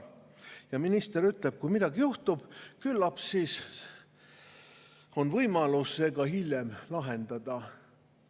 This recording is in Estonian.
Ja minister ütleb: "Kui midagi juhtub, küllap siis on võimalus see hiljem lahendada.